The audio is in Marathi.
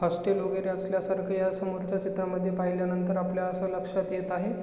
हॉस्टेल वेगेरे असल्या सारख ह्या समोरच्या चित्रामध्ये पहिल्या नंतर आपल्या अस लक्षात येत आहे.